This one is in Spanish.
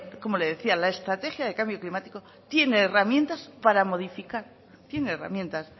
como le decía la estrategia de cambio climático tiene herramientas para modificar tiene herramientas